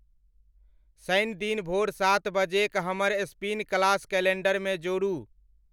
शनि दिन भोर सात बजे क हमर स्पिन क्लास कैलेंडर मे जोड़ू